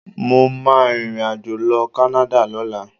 Mo máa rìnrìnàjò lọ Canada lọ́la.